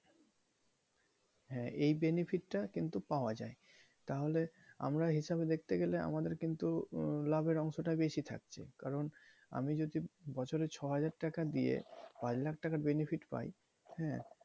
হ্যাঁ এই benefit টা কিন্তু পাওয়া যায় তাহলে আমরা হিসাবে দেখতে গেলে আমাদের কিন্তু লাভের অংশটা বেশি থাকছে কারন আমি যদি বছরে ছয় হাজার টাকা দিয়ে পাঁচ লাখ টাকার benefit যদি পাই,